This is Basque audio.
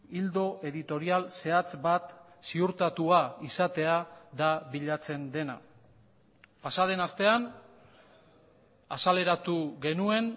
ildo editorial zehatz bat ziurtatua izatea da bilatzen dena pasaden astean azaleratu genuen